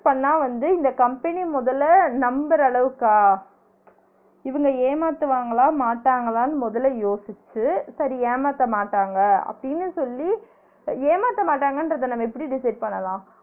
பண்ணா வந்து இந்த company முதல்ல நம்புற அளவுக்கா இவுங்க ஏமாத்துவாங்களா மாட்டாங்களானு முதல்ல யோசிச்சு சரி ஏமாத்தமாட்டாங்க அப்டின்னு சொல்லி ஏமாத்தமாட்டாங்கன்றத நம்ம எப்டி decide பண்ணலாம்